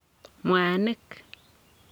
mwanik.